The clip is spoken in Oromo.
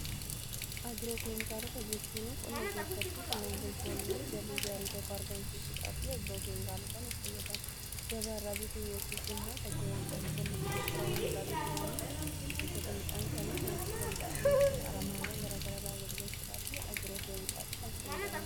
Agiroo keemikaalota jechuun qonna keessatti qonnaan bultoonni galii gaarii tokko argamsiisuudhaafi agiroo keemikaalotatti fayyadamu. Gabaarraa bituu yookiis immoo bakkeewwan qorichoonni itti gurguraman irraa bituudhaan ilbiisota midhaan isaanii nyaachuu danda'anii fi aramaawwan gara garaa balleessuudhaa fi agiroo keemikaalitti kan fayyadamanidha.